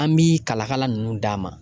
An bi kalakala nunnu d'a ma